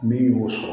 Min y'o sɔrɔ